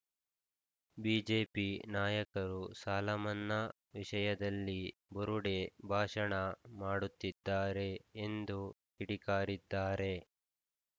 BJP ನಾಯಕರು ಸಾಲಮನ್ನಾ ವಿಷಯದಲ್ಲಿ ಬುರುಡೆ ಭಾಷಣ ಮಾಡುತ್ತಿದ್ದಾರೆ ಎಂದು ಕಿಡಿಕಾರಿದ್ದಾರೆ